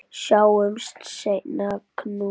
Sjáumst seinna, knús.